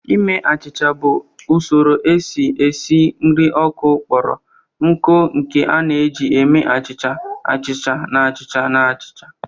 Ime achịcha bụ usoro esi esi nri ọkụ kpọrọ nkụ nke a na-eji eme achịcha, achịcha na achịcha achịcha